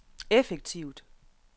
effektivt